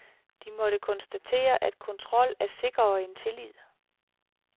De måtte konstatere, at kontrol er sikrere end tillid.